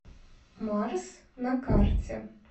марс на карте